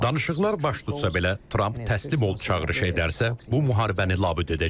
Danışıqlar baş tutsa belə, Tramp təslim ol çağırışı edərsə, bu müharibəni labüd edəcək.